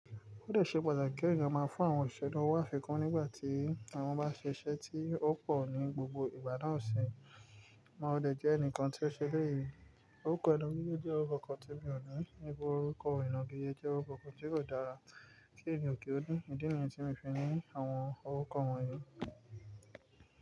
Ó lè ṣe pàtàkì kí èèyàn máa fún àwọn òṣìṣẹ́ lówó afikún nígbà tí àwọn bá ṣe iṣẹ́ tí ó pọ̀ ní gbogbo ìgbà náà sì mo lè jẹ́ ẹnìkan tí ó ṣe léyìí. Orúkọ inagíjẹ́ mi ni oje orúkọ kan tí mi ò ní. Níbo orúkọ ìnagíjé jẹ́ orúkọ kan tí kò dára tí èmi ò kí ó ní. Ìdí nìyẹn tí mo fi ní àwọn orúkọ wọ̀nyí.